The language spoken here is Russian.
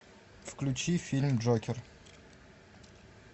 включи фильм джокер